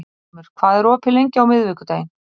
Stormur, hvað er opið lengi á miðvikudaginn?